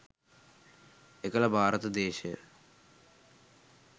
එකල භාරත දේශය